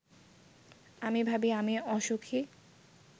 আমি ভাবি-আমি অসুখী